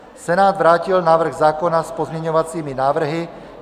Senát vrátil návrh zákona s pozměňovacími návrhy.